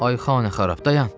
Ay Xanəxarab dayan.